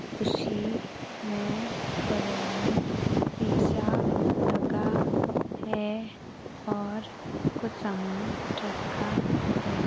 उसी में बगल मे शीशा लगा है और कुछ सामान रखा है।